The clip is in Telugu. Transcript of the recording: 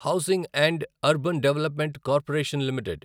housing and urban development corporation limited